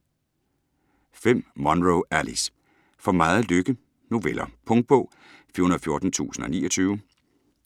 Munro, Alice: For meget lykke: noveller Punktbog 414029